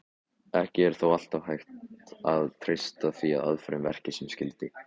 Ekki er þó alltaf hægt að treysta því að aðferðin verki sem skyldi.